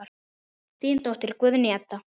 Þín dóttir, Guðný Edda.